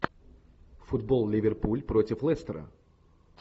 футбол ливерпуль против лестера